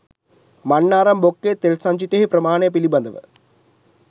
මන්නාරම් බොක්කේ තෙල් සංචිතයෙහි ප්‍රමාණය පිළිබඳව